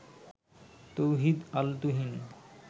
Touhid Al Tuhin